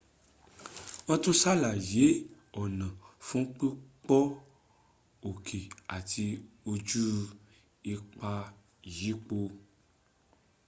wọ́n tún sàlàyé ọ̀nà fún pípọ́n òkè àti ojú ipa ìyípo